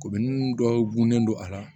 dɔw gunen don a la